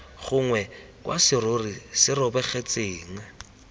gongwe kwa serori se robegetseng